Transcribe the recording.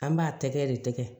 An b'a tɛgɛ de tɛgɛ